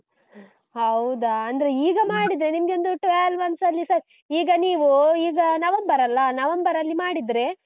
ಹೌದಾ? ಅಂದ್ರೆ ಈಗ ಮಾಡಿದ್ರೆ ನಿಮಗೆ ಒಂದು twelve months ನಲ್ಲಿ ಸ ಈಗ ನೀವು, ಈಗ ನವೆಂಬರಲ್ಲಾ? ನವೆಂಬರಲ್ಲಿ ಮಾಡಿದ್ರೆ